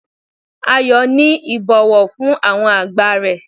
Ayo ni ibowo fun awon agba re